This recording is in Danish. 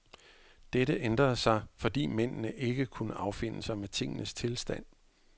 Dette ændrede sig, fordi mændene ikke kunne affinde sig med tingenes tilstand.